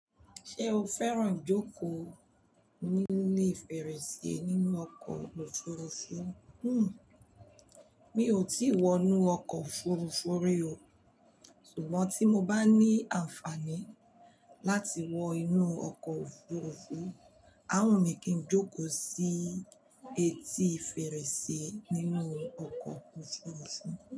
Ṣé o fẹ́ràn jókòó ní ilé fèrèsé nínú ọkọ̀ òfurufú? Hmmm. Mi ò tí wọ inú ọkọ̀ òfurufú rí o. Ṣùgbọ́n tí mo bá ní àǹfààní láti wọ inú ọkọ̀ òfurufú, á wù mí kí n jókòó sí etí fèrèsé nínú ọkọ̀ òfurufú.